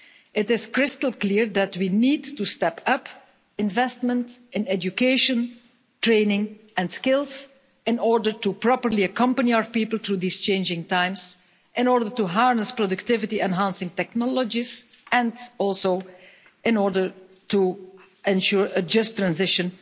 It is crystal clear that we need to step up investment in education, training and skills in order to properly accompany our people through these changing times, in order to harness productivity-enhancing technologies and also in order to ensure a just transition